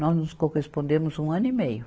Nós nos correspondemos um ano e meio.